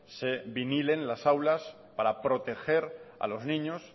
se vinilen las aulas para proteger a los niños